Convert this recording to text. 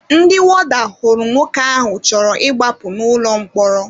Ndị wọda hụrụ nwoke ahụ chọrọ ịgbapụ n'ụlọ mkpọrọ